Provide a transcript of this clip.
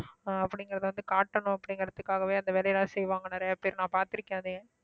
ஆஹ் அப்படிங்கிறதை வந்து காட்டணும் அப்படிங்கிறதுக்காகவே அந்த வேலை எல்லாம் செய்வாங்க நிறைய பேர் நான் பார்த்திருக்கேன் அதை